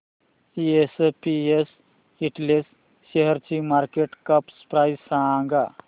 SPS Intel शेअरची market cap price सांगा